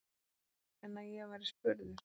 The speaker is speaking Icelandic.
En að ég væri spurður?